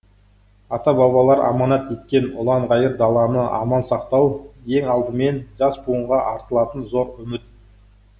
ата бабалар аманат еткен ұлан ғайыр даланы аман сақтау ең алдымен жас буынға артылатын зор үміт